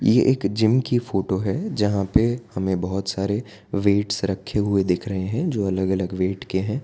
ये एक जिम की फोटो है जहां पे हमें बहोत सारे वेट्स रखे हुए दिख रहे हैं जो अलग अलग वेट के हैं। वेट